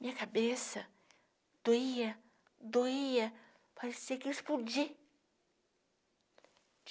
Minha cabeça doía, doía, parecia que ia explodir.